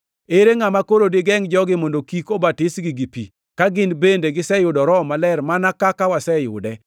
“Ere ngʼama koro digengʼ jogi mondo kik obatisgi gi pi, ka gin bende giseyudo Roho Maler mana kaka waseyude?”